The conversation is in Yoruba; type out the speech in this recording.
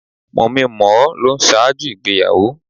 Mòminmòó ló n ṣáájú ìgbéyàwó